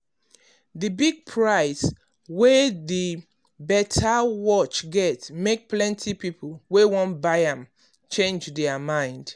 the big price wey the better watch get make plenty people wey wan buy am change their mind.